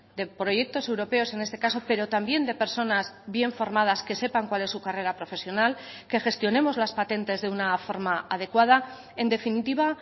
de proyectos europeos en este caso pero también de personas bien formadas que sepan cuál es su carrera profesional que gestionemos las patentes de una forma adecuada en definitiva